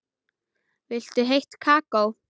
Viltu heitt kakó?